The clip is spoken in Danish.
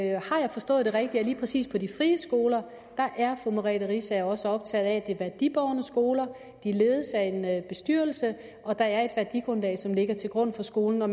jeg forstået det rigtigt nemlig at lige præcis på de frie skoler er fru merete riisager også optaget af at det er værdibårne skoler at de ledes af en bestyrelse at der er et værdigrundlag som ligger til grund for skolen og